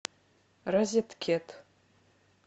розеткед